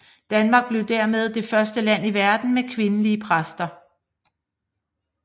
Danmark blev dermed det første land i verden med kvindelige præster